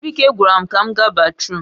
Chibuike gwaram ka m ga batrum